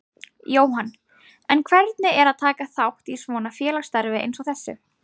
Jóhann: En hvernig er að taka þátt í svona félagsstarfi eins og þessu?